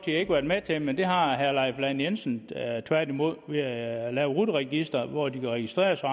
ikke været med til men det har herre leif lahn jensen tværtimod ved at lave rut registeret hvor de kan registrere sig